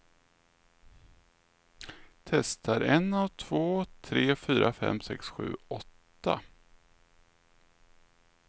Testar en två tre fyra fem sex sju åtta.